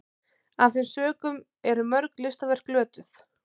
af þeim sökum eru mörg listaverk glötuð